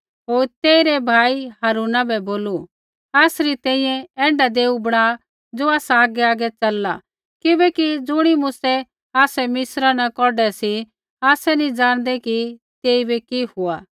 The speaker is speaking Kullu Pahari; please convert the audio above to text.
होर तेइरै भाई हारूना बै बोलू आसरै तैंईंयैं ऐण्ढा देऊ बणा ज़ो आसा आगैआगै च़लला किबैकि ज़ुणी मूसै आसै मिस्रा न कौढै सी आसै नी ज़ाणदै कि तेइबै कि हुआ